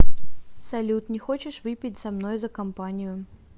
салют не хочешь выпить со мной за компанию